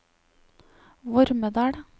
Vormedal